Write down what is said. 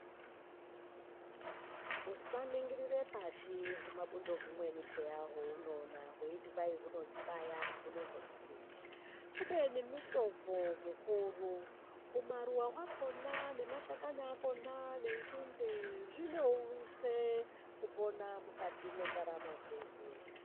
Usaningirire pashi humabudo humweni peya hwaunoona weiti hai hunozondibaya, unozondidini kubeni mitombo mikuru. Humaruwa hwakona nemashakani akona nenzinde zvinounze kupona mukati mwendaramo dzedu.